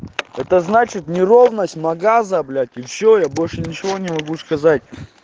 это значит неровность магаза блять и все я больше ничего не могу сказать